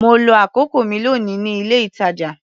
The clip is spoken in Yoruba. Mo lo àkókò mi lónìí ní ilé-ìtàjà.